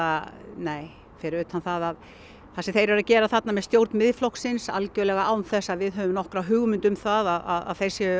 nei fyrir utan það að það sem þeir eru að gera þarna með stjórn Miðflokksins án þess að við höfum nokkra hugmynd um að þeir séu